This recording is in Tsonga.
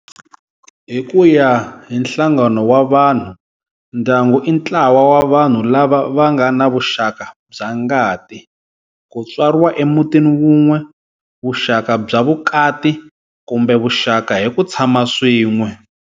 Hi kuya hi nhlangano wa vanhu, ndyangu i ntlawa wa vanhu lava vangana vuxaka bya ngati, kutswariwa emutini wun'we, vuxaka bya vukati, kumbe vuxaka hi ku tshama swin'we.